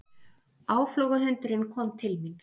Áflogahundurinn kom til mín.